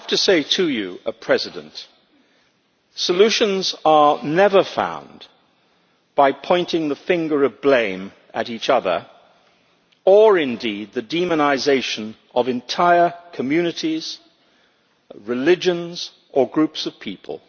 But solutions are never found by pointing the finger of blame at each other, or indeed by the demonisation of entire communities, religions or groups of people.